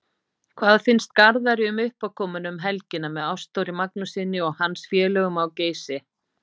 Hvað finnst Garðari um uppákomuna um helgina með Ástþóri Magnússyni og hans félögum á Geysi?